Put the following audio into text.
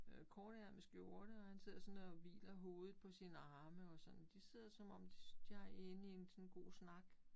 Øh kortærmet skjorte og han sidder sådan og hviler hovedet på sine arme og sådan. De sidder som om de er inde i sådan en god snak